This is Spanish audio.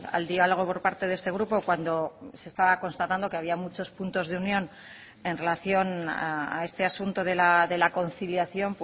al dialogo por parte de este grupo cuando se estaba constatando que había muchos puntos de unión en relación a este asunto de la conciliación